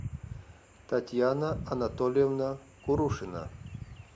татьяна анатольевна курушина